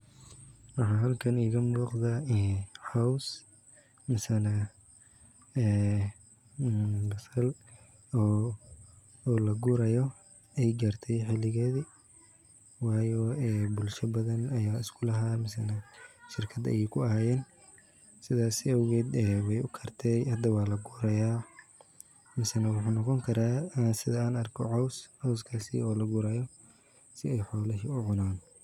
Waxa halkani iga muqda cows misana ee basal oo lagurayo ay gartay xiigeedi wayo ee bulshada badan ay isku lahaan shirkad ay ku ahayeen sidaas awged way ukartay hada waa laguri haya mase wuxuu noqon karaa sidan arko cows, cowskas oo lagurayo si ay xoolaha uu cunan